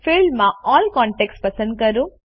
ફિલ્ડમાં all contacts પસંદ કરો